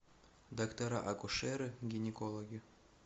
доктора акушеры гинекологи